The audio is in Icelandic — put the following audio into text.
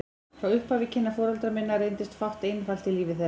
Frá upphafi kynna foreldra minna reyndist fátt einfalt í lífi þeirra.